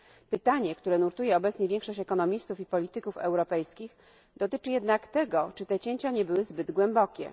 Pytanie, które nurtuje obecnie większość ekonomistów i polityków europejskich, dotyczy jednak tego, czy te cięcia nie były zbyt głębokie.